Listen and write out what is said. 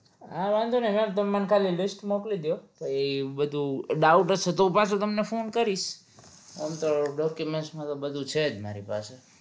હા વાંધો નહિ ma'am તમે મને ખાલી list મોકલી દયો તો એ હું બધું doubt હશે તો હું પાછો તમને ફોન કરીશ એમ તો document માં તો બધું છે જ મારી પાસે